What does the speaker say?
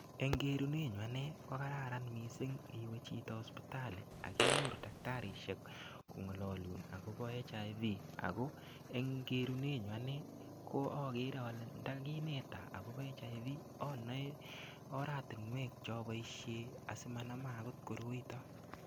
Eng' keret nyun ane ko kararan mising' iwe sipitali akinyorchgei daktarishek kong'alalun agobo HIV ako eng' kerunet nyun anee ko agere ale ndakineton akobo HIV anae oratinwok che apoishe asimanama akot koroito.